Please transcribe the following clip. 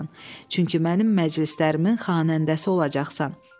Çünki mənim məclislərimin xanəndəsi olacaqsan.